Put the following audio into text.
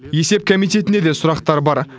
есеп комитетіне де сұрақтар бар